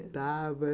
Cantava.